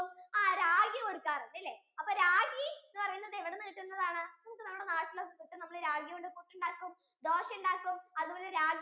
ആ ragi കൊടുക്കാറുണ്ട് അല്ലെ അപ്പൊ ragi എന്ന് പറയുന്നേ ഇവുടുന്നു കിട്ടുന്നെ ആണ് നമുക്ക് നമ്മളെ നാട്ടിൽ ragi കൊണ്ട് പുട്ടുണ്ടാകും ദോശയുണ്ടാക്കും അതുപോലെ ragi